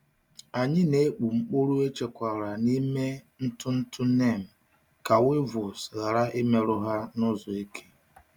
Anyị na-akpụ mkpụrụ echekwara n’ime ntụ ntụ neem ka weevils ghara imerụ ha n’ụzọ eke.